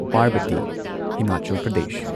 Parbati Himachal Pradesh